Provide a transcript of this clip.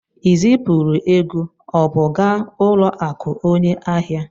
I zipụrụ ego ọ bụ gaa ụlọakụ onye ahịa?